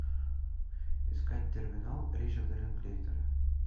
искать терминал ричарда линклейтера